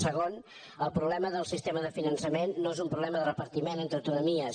segon el problema del sistema de finançament no és un problema de repartiment entre autonomies